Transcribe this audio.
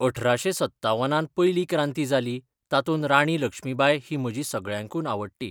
अठराशें सत्तावनान पयली क्रांती जाली तातूंत राणी लक्ष्मीबाय ही म्हजी सगळ्यांकून आवडटी